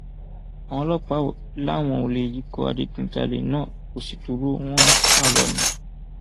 àwọn ọlọpàá lé àwọn olè yìí ikọ adigunjalè náà kó sì dúró wọn ń sá lọ ni